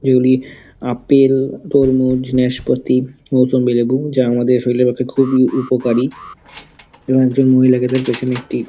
যেগুলি আপেল তরমুজনেশপাতিমুসম্বী লেবু যা আমাদের শরীরের পক্ষে খুবই উপকারী এবং একজন মহিলাকে তার পিছনে একটি--